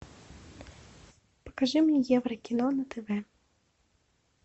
покажи мне еврокино на тв